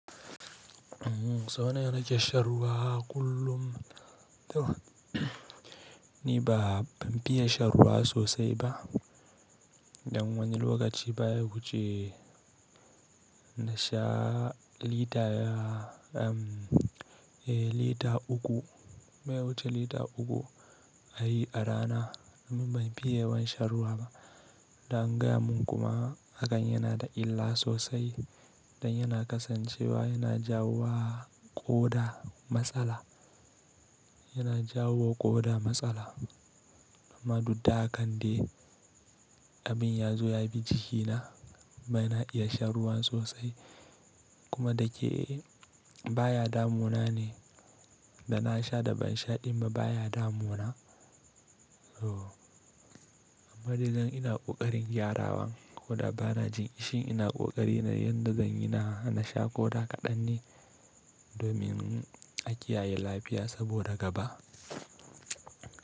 Sau nawa kake shan ruwa kullum? To, ni ba ban fiye shan ruwa sosai ba. Dan wani lokaci baya huce na sha lita uku, bay wuce lita uku a yi a rana domin ban fiye shan ruwa ba. Dan gaya mun kuma hakan yana da illa sosai dan yana kasancewa yana jawo ƙoda matsala, yana jawo ƙoda matsala. Amma dudda hakan dai abin ya zo ya bi jikina bana iya shan ruwan sosai kuma da ke baya damuna ne da na sha da ban sha ɗimma baya damuna. Amma dai ina ƙoƙarin gyarawa ko da ba na jin ƙishi ina ƙoƙari na yadda zan yi na sha ƙoda kaɗan ne domin a kiyaye lafiya saboda gaba.